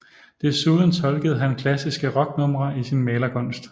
Desuden tolkede han klassiske rocknumre i sin malerkunst